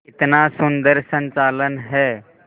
कितना सुंदर संचालन है